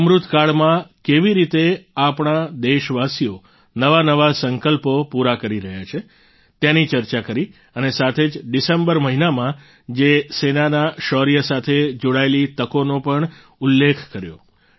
અમૃતકાળમાં કેવી રીતે આપણા દેશવાસીઓ નવા નવા સંકલ્પો પૂરા કરી રહ્યા છે તેની ચર્ચા કરી અને સાથે જ ડિસેમ્બર મહિનામાં જ સેનાના શૌર્ય સાથે જોડાયેલી તકોનો પણ ઉલ્લેખ કર્યો